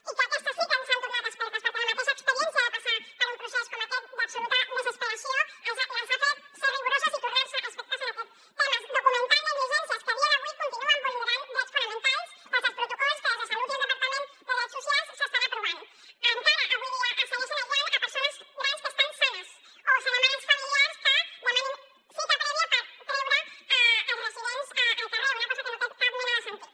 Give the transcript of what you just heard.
i que aquestes sí que s’han tornat expertes perquè la mateixa experiència de passar per un procés com aquest d’absoluta desesperació els ha fet ser rigoroses i tornar se expertes en aquests temes documentant negligències que a dia d’avui continuen vulnerant drets fonamentals des dels protocols que des de salut i el departament de drets socials s’estan aprovant encara avui dia es segueixen aïllant persones grans que estan sanes o es demana als familiars que demanin cita prèvia per treure els residents al carrer una cosa que no té cap mena de sentit